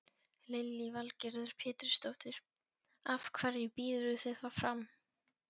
Lillý Valgerður Pétursdóttir: Af hverju býðurðu þig fram?